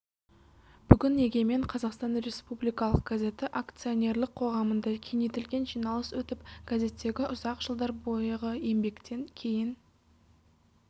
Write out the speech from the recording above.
бүгін егемен қазақстан республикалық газеті акционерлік қоғамында кеңейтілген жиналыс өтіп газеттегі ұзақ жылдар бойғы еңбектен кейін